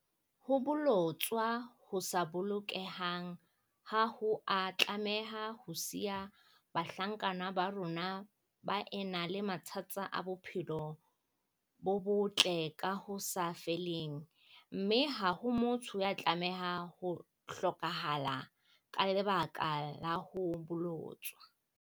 Ho bolo-tswa ho sa bolokehang ha ho a tlameha ho siya bahlankana ba rona ba ena le mathata a bophelo bo botle ka ho sa feleng, mme ha ho motho ya tlameha ho hlokahala ka leba-ka la ho bolotswa.